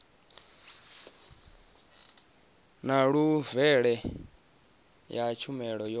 na levele ya tshumelo yo